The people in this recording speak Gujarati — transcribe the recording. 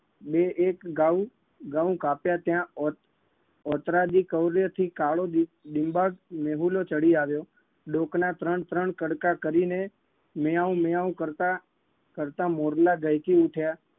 બે એક ગાઉં ગઉં કાપ્યા ત્યાં ઓત ઓતરા દી કવળેથી કાળો ડી ડિમ્બાટ મેહુલો ચડી આવ્યો. ડોકના ત્રણ ત્રણ કડકા કરીને મ્યાઉં મ્યાઉં કરતા કરતા મોરલા દહેકી ઉઠ્યા